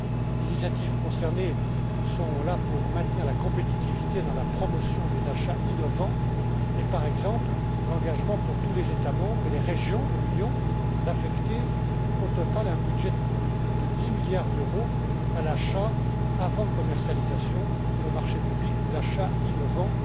Les initiatives concernées sont là pour maintenir la compétitivité dans la promotion des achats innovants et, par exemple, l'engagement pour tous les États membres et les régions de l'Union d'affecter au total un budget de plus de dix milliards d'euros aux achats avant commercialisation et aux marchés publics d'achats innovants.